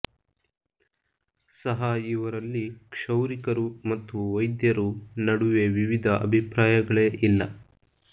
ಸಹ ಇವರಲ್ಲಿ ಕ್ಷೌರಿಕರು ಮತ್ತು ವೈದ್ಯರು ನಡುವೆ ವಿವಿಧ ಅಭಿಪ್ರಾಯಗಳೇ ಇಲ್ಲ